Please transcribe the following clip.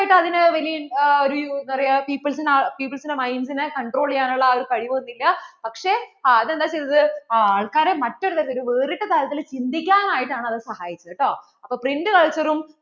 അതിന് വെല്യ അതിനു ഒരു എന്താ പറയ്യാ people's peoples ന്‍റെ minds നെ control ചെയ്യാനുള്ള കഴിവൊന്നുമില്ല പക്ഷേ അത് എന്താ ചെയ്‌തത്‌ ആ ആള്‍ക്കാരെ മറ്റൊരു തരത്തിൽ ഒരു വേറിട്ട തരത്തിൽ ചിന്തിക്കാൻ ആയിട്ട് ആണ് അതു സഹായിച്ചത് ട്ടോ